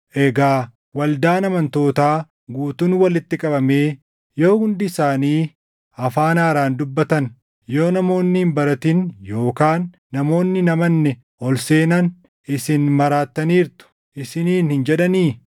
Egaa waldaan amantootaa guutuun walitti qabamee yoo hundi isaanii afaan haaraan dubbatan, yoo namoonni hin baratin yookaan namoonni hin amanne ol seenan isin maraattaniirtu isiniin hin jedhanii?